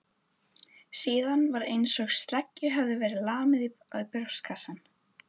Síðan var einsog sleggju hefði verið lamið í brjóstkassann.